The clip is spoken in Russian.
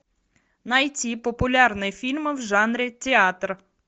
найти популярные фильмы в жанре театр